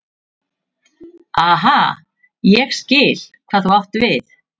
Aha, ég skil hvað þú átt við.